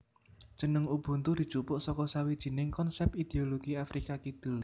Jeneng Ubuntu dijupuk saka sawijining konsèp ideologi Afrika Kidul